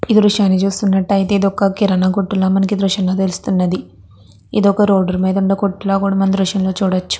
ఈ దృశ్యం లో మనం చూసినట్టు అయితే ఇది ఒక కిరణా కొట్టు లాగా ఉన్నది దీని రోడ్ మీద తీసినట్టుగా ఉన్నది.